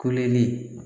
Kuleli